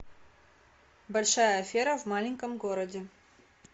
большая афера в маленьком городе